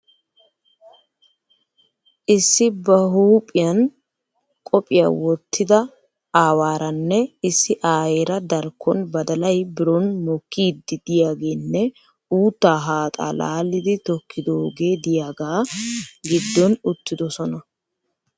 Issi ba buuphiyan qophiya wottida aawaaranne issi aayeera darkkon badalay biron mokkiiddi diyageenne uuttaa haaxaa laalidi tokkidoogee diyaga giddon uttidosona.